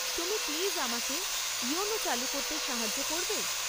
তুমি প্লিজ আমাকে ইয়োনো চালু করতে সাহায্য করবে?